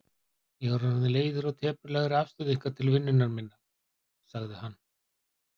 Ég er orðinn leiður á teprulegri afstöðu ykkar til vinnunnar minnar, sagði hann.